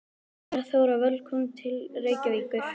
Kæra Þóra. Velkomin til Reykjavíkur.